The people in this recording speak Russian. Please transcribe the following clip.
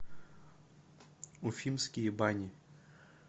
уфимские бани